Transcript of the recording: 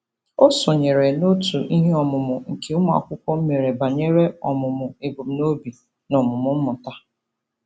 O sonyeere n'òtù iheọmụmụ nke ụmụakwukwo mere banyere ọmụmụ ebumnobi na omume mmụta.